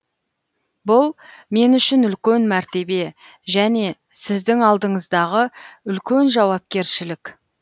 бұл мен үшін үлкен мәртебе және сіздің алдыңыздағы үлкен жауапкершілік